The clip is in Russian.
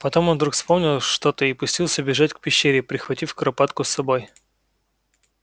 потом он вдруг вспомнил что-то и пустился бежать к пещере прихватив куропатку с собой